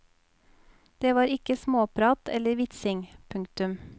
Det var ikke småprat eller vitsing. punktum